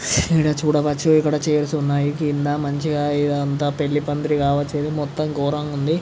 ఇక్కడ చూడవచ్చు ఇక్కడ చైర్స్ ఉనాయి క్రింద మంచిగా ఇదిఅంతా పెళ్ళిపందిరి కావచ్చు ఇది మొత్తం గోరంగా ఉంది.